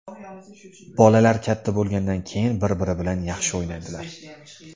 Bolalar katta bo‘lgandan keyin bir-biri bilan yaxshi o‘ynaydilar.